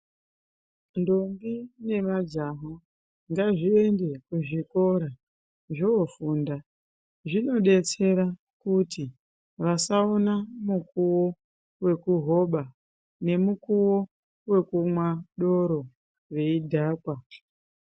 Ndombi nemajaha ngavaende kuzvikora vofunda zvinodetsera kuti vasaona mukuwo wekuhoba nemukowo wekumwa doro veidhakwa.